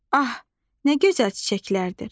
Ah, nə gözəl çiçəklərdir!